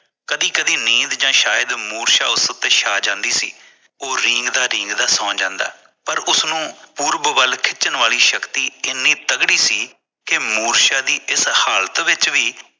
ਕਦੀ ਕਦੀ ਨੀਂਦ ਜਾਂ ਸ਼ਾਇਦਮੁਰਸ਼ਾ ਉਸ ਉੱਤੇ ਸ਼ਾ ਜਾਂਦੀ ਸੀ ਉਹ ਰੀਂਗਦਾ ਰੀਂਗਦਾ ਸੋ ਜਾਂਦਾ ਪਰ ਉਸਨੂੰ ਪੁਰਬ ਵੱਲ ਖਿੱਚਣ ਵਾਲੀ ਸ਼ਕਤੀ ਇੰਨੀ ਤਗੜੀ ਸੀ ਕਿ ਮੁਰਸ਼ਾ ਦੀ ਇਸ ਹਾਲਤ ਵਿੱਚ ਵੀ